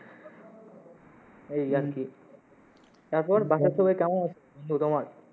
এই আর কি তারপর বাসার সবাই কেমন?